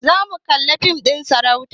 Zamu kalli fim ɗin sarauta